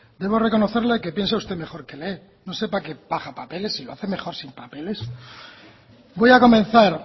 debo reconocerle que piensa usted mejor que lee no sé para qué baja papeles si lo hace mejor sin papeles voy a comenzar